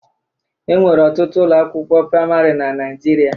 E nwere ọtụtụ ụlọ akwụkwo praịmarị na Naịjirịa.